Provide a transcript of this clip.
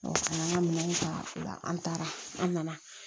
ka n'an ka minɛnw ta o la an taara an na